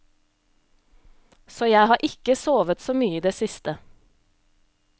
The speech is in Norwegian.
Så jeg har ikke sovet så mye i det siste.